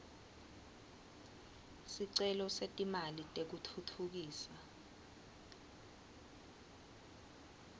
sicelo setimali tekutfutfukisa